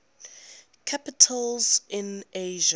capitals in asia